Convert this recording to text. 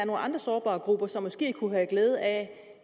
andre sårbare grupper som måske kunne have glæde af